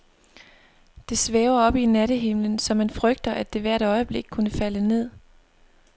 Det svæver oppe i nattehimlen, så man frygter, at det hvert øjeblik kunne falde ned.